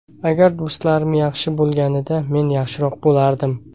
Agar do‘stlarim yaxshi bo‘lganida men yaxshiroq bo‘lardim.